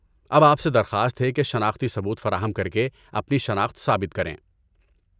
اب آپ سے درخواست ہے کہ شناختی ثبوت فراہم کرکے اپنی شناخت ثابت کریں۔